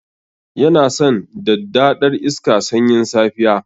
Yana san daddadar iska sanyin safiya.